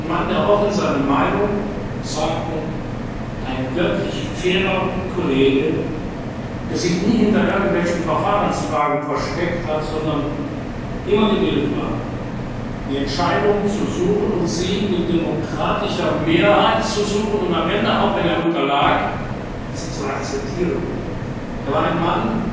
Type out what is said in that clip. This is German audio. legte. Er war ein Mann, der offen seine Meinung sagte, ein wirklich fairer Kollege, der sich nie hinter irgendwelchen Verfahrensfragen versteckt hat, sondern immer gewillt war, die Entscheidung zu suchen, sie mit demokratischer Mehrheit zu suchen und am Ende, auch wenn er unterlag, zu akzeptieren. Er war